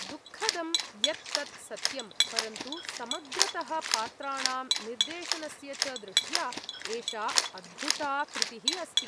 दुःखदं यत् तत् सत्यम्, परन्तु समग्रतः पात्राणां निर्देशनस्य च दृष्ट्या एषा अद्भुता कृतिः अस्ति ।